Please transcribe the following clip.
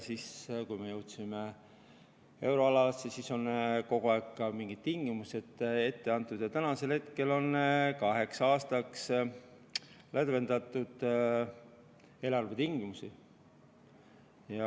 Siis kui me jõudsime euroalasse, siis on kogu aeg mingid tingimused ette antud ja tänasel hetkel on kaheks aastaks lõdvendatud eelarvetingimusi.